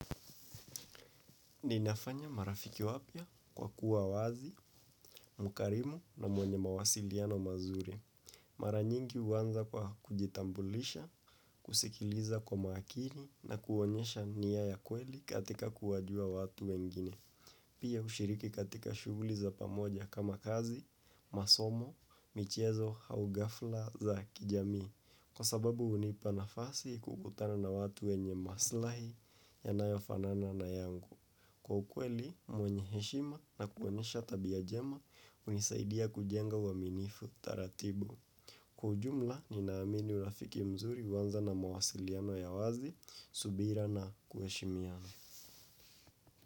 Ninafanya marafiki wapya kwa kuwa wazi, mkarimu na mwenye mawasiliano mazuri. Maranyingi uwanza kwa kujitambulisha, kusikiliza kwa maakini na kuonyesha niya ya kweli katika kuwajua watu wengine. Pia ushiriki katika shuguli za pamoja kama kazi, masomo, michezo, hau gafla za kijamii. Kwa sababu unipa nafasi kukutana na watu wenye maslahi yanayo fanana na yangu. Kwa ukwe li mwenye heshima na kuonyesha tabia jema unisaidia kujenga uwaminifu taratibu. Kwa ujumla ninaamini urafiki mzuri huwanza na mawasiliano ya wazi, subira na kuheshimiana.